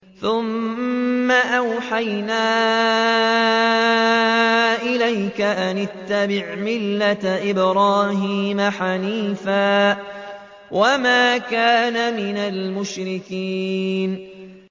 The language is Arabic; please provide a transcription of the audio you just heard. ثُمَّ أَوْحَيْنَا إِلَيْكَ أَنِ اتَّبِعْ مِلَّةَ إِبْرَاهِيمَ حَنِيفًا ۖ وَمَا كَانَ مِنَ الْمُشْرِكِينَ